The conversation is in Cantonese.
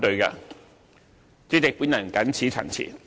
代理主席，我謹此陳辭。